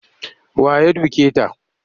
Wa ya duke ta?